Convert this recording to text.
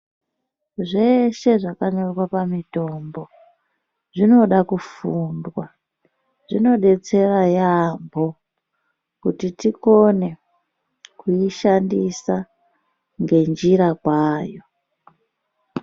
Zveshe zvakanyorwa pamitombo zvinoda kufundwa, zvinodetsera yaamho kuti tikone kuishandisa ngenjira kwayo.